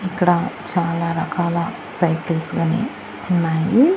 ఇక్కడ చాలా రకాల సైకిల్స్ గనీ ఉన్నాయి.